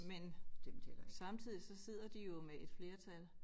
Men samtidig så sidder de jo med et flertal